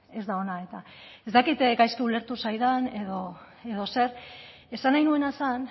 ez da ona eta ez dakit gaizki ulertu zaidan edo zer esan nahi nuena zen